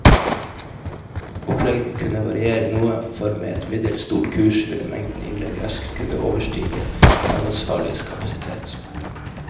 Oppleggene kunne variere noe, for med et middels stort kurs ville mengden innlegg raskt kunne overstige fagansvarliges kapasitet.